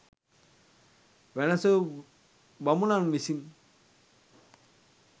වැනැසූ බමුණන් විසින්